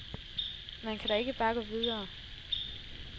Man kan da ikke bare gå videre.